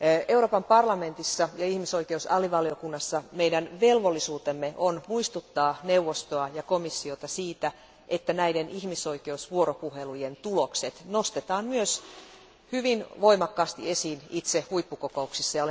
Euroopan parlamentissa ja ihmisoikeusalivaliokunnassa meidän velvollisuutemme on muistuttaa neuvostoa ja komissiota siitä, että näiden ihmisoikeusvuoropuhelujen tulokset nostetaan myös hyvin voimakkaasti esille itse huippukokouksissa.